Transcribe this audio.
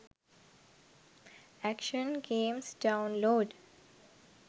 action games download